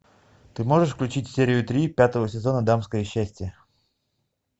ты можешь включить серию три пятого сезона дамское счастье